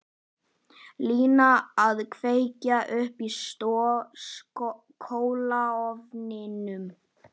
Lína að kveikja upp í kolaofninum.